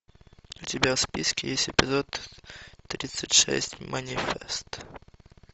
у тебя в списке есть эпизод тридцать шесть манифест